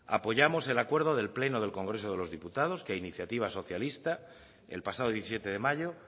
apoyamos el acuerdo del pleno del congreso de los diputados que a iniciativa socialista el pasado diecisiete de mayo